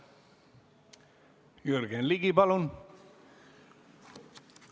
Jürgen Ligi, palun!